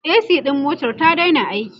a.c ɗin motar ta Daina aiki